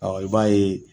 i b'a ye